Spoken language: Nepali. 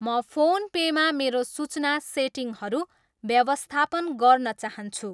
म फोन पेमा मेरो सूचना सेटिङहरू व्यवस्थापन गर्न चाहन्छु।